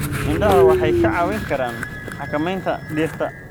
Idaha Waxay kaa caawin karaan xakamaynta dhirta.